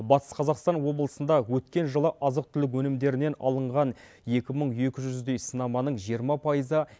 батыс қазақстан облысында өткен жылы азық түлік өнімдерінен алынған екі мың екі жүздей сынаманың жиырма пайызы